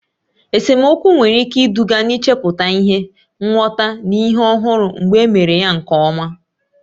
Esemokwu nwere ike iduga n'ichepụta ihe, nghọta, na ihe ọhụrụ mgbe e mere ya nke ọma.